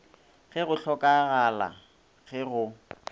ge go hlokagala ge go